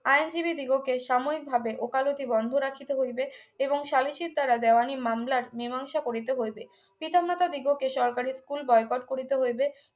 আইনজীবী দিগকে সাময়িকভাবে ওকালতি বন্ধ রাখিতে হইবে এবং স্বদেশীর দ্বারা দেওয়ানি মামলার মীমাংসা করিতে হইবে পিতামাতা দিগকে সরকারি school বয়কট করিতে হইবে